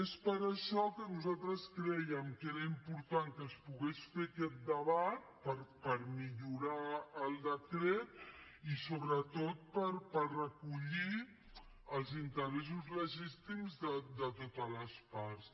és per això que nosaltres crèiem que era important que es pogués fer aquest debat per millorar el decret i sobretot per recollir els interessos legítims de totes les parts